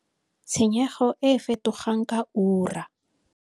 Tshenyego e e fetogang ka ura.